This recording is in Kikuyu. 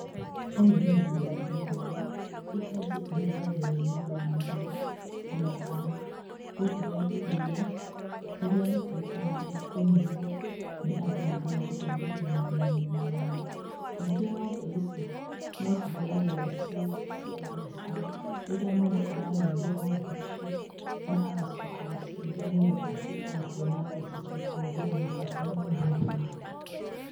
Ũyũ nĩ ũrĩmi wa ng'ombe, iria kaingĩ ihũthagĩrũo nĩũndũ wa nyama, ona kana, gũtũhe iria, rĩrĩa rĩtuĩkaga rĩa kũnyuo, nĩ andũ nĩũndũ wa gũteithĩrĩria mĩrĩ-inĩ yao. Ningĩ ng'ombe ici, nocihũthagĩrũo ci, cia mbiacara, rĩrĩa mũndũ ararĩithia ng'ombe icio, na agacoka gũciendia nĩgetha atuĩke wa kuona mbeca cia kũhũthĩra mabata-inĩ mangĩ make.